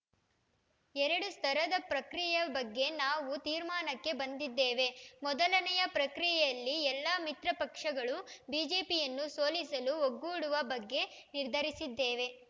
ಎರಡು ಸ್ತರದ ಪ್ರಕ್ರಿಯೆಯ ಬಗ್ಗೆ ನಾವು ತೀರ್ಮಾನಕ್ಕೆ ಬಂದಿದ್ದೇವೆ ಮೊದಲನೆಯ ಪ್ರಕ್ರಿಯೆಯಲ್ಲಿ ಎಲ್ಲ ಮಿತ್ರಪಕ್ಷಗಳು ಬಿಜೆಪಿಯನ್ನು ಸೋಲಿಸಲು ಒಗ್ಗೂಡುವ ಬಗ್ಗೆ ನಿರ್ಧರಿಸಿದ್ದೇವೆ